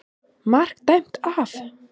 MARK DÆMT AF.